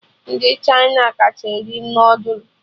Ndị Chịna kacha eri noodul